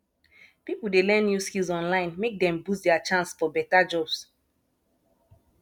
pipo dey learn new skills online make dem boost dia chance for beta jobs